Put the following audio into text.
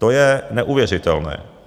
To je neuvěřitelné.